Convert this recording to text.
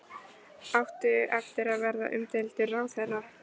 Áttu eftir að verða umdeildur ráðherra?